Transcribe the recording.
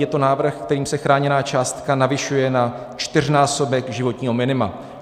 Je to návrh, kterým se chráněná částka navyšuje na čtyřnásobek životního minima.